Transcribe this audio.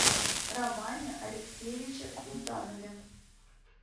романе алексеевиче султанове